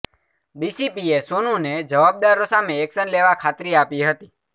ડીસીપીએ સોનુને જવાબદારો સામે એક્શન લેવા ખાત્રી આપી હતી